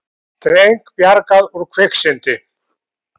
Dreng bjargað úr kviksyndi